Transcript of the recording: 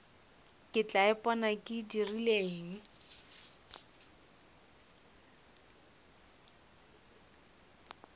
ke tla ipona ke dirileng